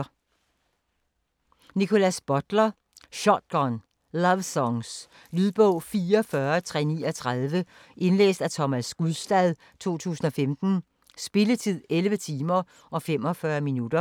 Butler, Nickolas: Shotgun lovesongs Lydbog 44339 Indlæst af Thomas Gulstad, 2015. Spilletid: 11 timer, 45 minutter.